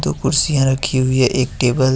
दो कुर्सियां रखी हुई है एक टेबल है।